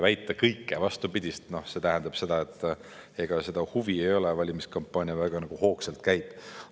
Väita kõike vastupidist – see tähendab seda, et ega huvi ei ole, valimiskampaania väga hoogsalt käib.